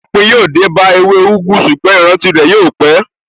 Òpin yóò dé bá ewé úgú, ṣùgbọ́n ìrántí rẹ̀ yóò pé.